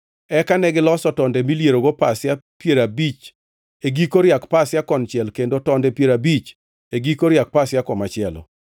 Eka negiloso tonde milierogo pasia piero abich e giko riak pasia konchiel kendo tonde piero abich e giko riak pasia komachielo.